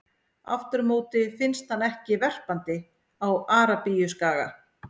Aftur á móti finnst hann ekki verpandi á Arabíuskaga.